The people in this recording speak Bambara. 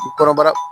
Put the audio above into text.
Kɔnɔbara